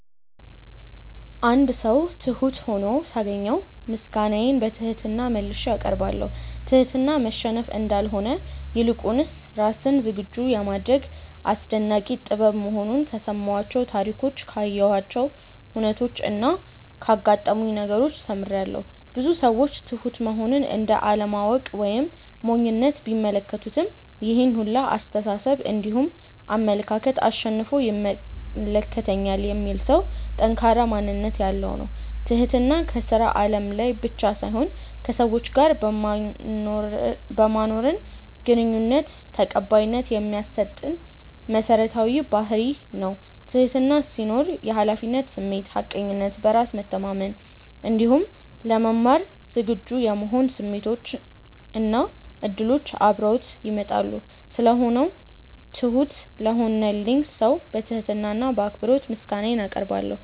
አንድ ሰው ትሁት ሁኖ ሳገኘው ምስጋናዬን በትህትና መልሼ አቀርባለሁ። ትህትና መሸነፍ እንዳልሆነ ይልቁንም ራስን ዝግጁ የማድረግ አስደናቂ ጥበብ መሆኑን ከሰማኋቸው ታሪኮች ካየኋቸው ሁነቾች እና ካጋጠሙኝ ነገሮች ተምሬያለው። ብዙ ሰዎች ትሁት መሆንን እንደ አለማወቅ ወይም ሞኝነት ቢመለከቱትም ይሄን ሁላ አስተሳሰብ እንዲሁም አመለካከት አሸንፎ ይመለከተኛል የሚል ሰው ጠንካራ ማንነት ያለው ነው። ትህትና ከስራ አለም ላይ ብቻ ሳይሆን ከሰዎች ጋር በማኖረን ግንኙነት ተቀባይነት የሚያሰጠን መሰረታዊ ባህርይ ነው። ትህትና ሲኖር የሀላፊነት ስሜት፣ ሀቀኝነት፣ በራስ መተማመን እንዲሁም ለመማር ዝግጁ የመሆን ስሜቶች እና እድሎች አብረውት ይመጣሉ። ስለሆነው ትሁት ለሆነልኝ ሰው በትህትና እና በአክብሮት ምስጋናዬን አቀርባለሁ።